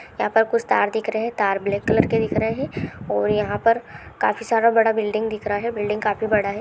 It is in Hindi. यहाँ पर कुछ तार दिख रहे हैं तार ब्लैक कलर के दिख रहे हैं और यहाँ पर काफी सारा बड़ा बिल्डिंग दिख रहा है बिल्डिंग काफी बड़ा है।